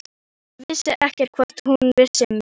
Ég vissi ekkert hvort hún vissi um mig.